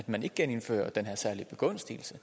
man ikke genindfører den her særlige begunstigelse